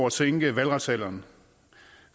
at sænke valgretsalderen